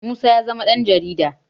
musa ya zama Dan jarida